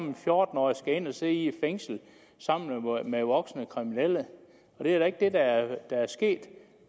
en fjorten årig skal ind at sidde i et fængsel sammen med voksne kriminelle det er da ikke det der er der er sket